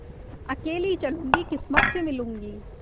अकेली चलूँगी किस्मत से मिलूँगी